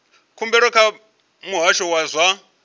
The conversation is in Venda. khumbelo kha muhasho wa zwa